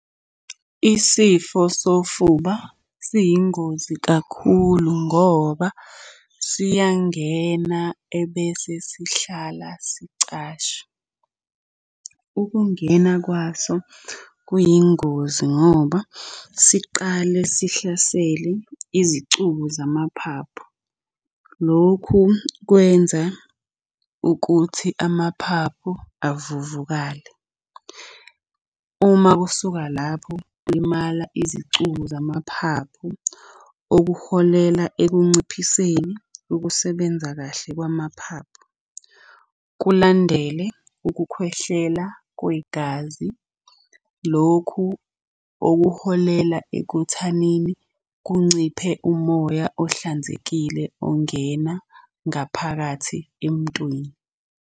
Isifo sofuba siyingozi kakhulu ngoba siyangena ebese sihlala sicashe. Ukungena kwaso kuyingozi ngoba siqale sihlasele izicubu zamaphaphu. Lokhu kwenza ukuthi amaphaphu avuvukale. Uma kusuka lapho kulimala izicubu zamaphaphu okuholela ekunciphiseni ukusebenza kahle kwamaphaphu. Kulandele ukukhwehlela kwegazi, lokhu okuholela ekuthanini kunciphe umoya ohlanzekile ongena ngaphakathi emntwini.